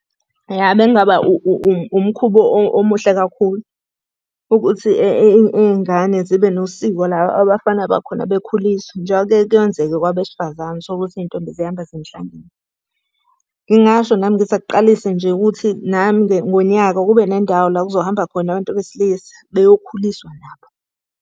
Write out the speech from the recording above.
Ya bekungaba umkhuba omuhle kakhulu. Ukuthi iy'ngane zibe nosiko la abafana bakhona bekhuliswa, njengoba kuyeke kwenzeke kwabesifazane, uthole ukuthi iy'ntombi ziyahamba ziya emhlangeni. Ngingasho nami ngithi akuqalise nje ukuthi nami-ke ngonyaka kube nendawo la kuzohamba khona abantu besilisa beyokhuliswa nabo.